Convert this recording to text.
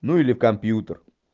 ну или компьютер